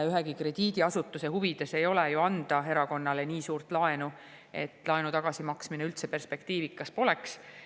Ühegi krediidiasutuse huvides ei ole ju anda erakonnale nii suurt laenu, mille tagasimaksmine üldse perspektiivikas poleks.